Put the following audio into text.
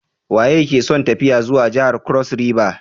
Waye ke son tafiya zuwa jihar kros riva?